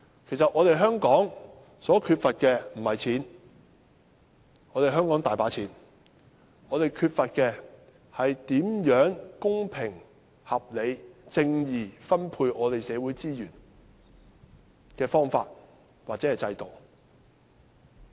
其實香港缺乏的並非金錢，香港政府有很多錢，我們缺乏的是公平合理而正義地分配社會資源的方法或制度。